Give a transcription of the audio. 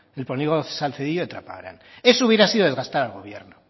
polígono salcedillo de trapagaran eso hubiera sido desgastar al gobierno